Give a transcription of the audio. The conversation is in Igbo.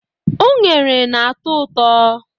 Unere na-atọ ụtọ.